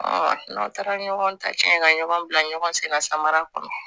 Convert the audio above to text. n'aw taara ɲɔgɔn ta cɛn ka ɲɔgɔn bila ɲɔgɔn sen na samara kɔnɔ